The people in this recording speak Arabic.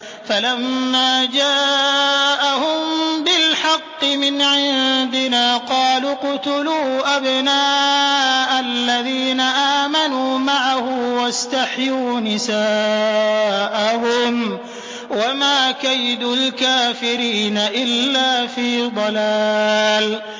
فَلَمَّا جَاءَهُم بِالْحَقِّ مِنْ عِندِنَا قَالُوا اقْتُلُوا أَبْنَاءَ الَّذِينَ آمَنُوا مَعَهُ وَاسْتَحْيُوا نِسَاءَهُمْ ۚ وَمَا كَيْدُ الْكَافِرِينَ إِلَّا فِي ضَلَالٍ